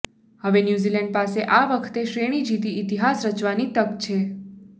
હવે ન્યૂઝીલેન્ડ પાસે આ વખતે શ્રેણી જીતી ઇતિહાસ રચવાની તક છે